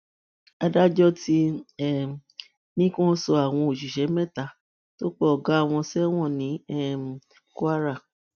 adájọ ti um ní kí wọn sọ àwọn òṣìṣẹ mẹta tó pa ọgá wọn sẹwọn ní um kwara